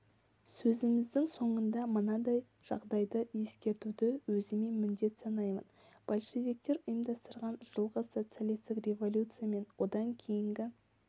сөзіміздің соңында мынадай жағдайды ескертуді өзіме міндет санаймын большевиктер ұйымдастырған жылғы социалистік революция мен одан кейінгі